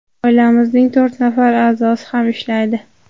Oilamizning to‘rt nafar a’zosi ham ishlaydi.